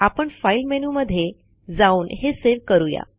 आपण फाईल मेनूमध्ये जाऊन हे सेव्ह करुया